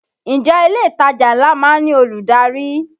Ǹjẹ́ ilé ìtajà ńlá má ń ní olùdarí?